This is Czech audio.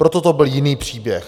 Proto to byl jiný příběh.